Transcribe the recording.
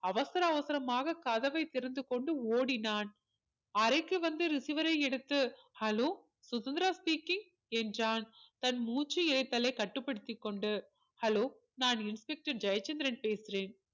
அவசர அவசரமாக கதவை திறந்து கொண்டு ஓடினான் அறைக்கு வந்து receiver ஐ எடுத்து hello சுதந்திரா speaking என்றான் தன் மூச்சு இழைத்தலை கட்டுப்படுத்திக்கொண்டு hello நான் inspector ஜெயச்சந்திரன் பேசுகிறேன்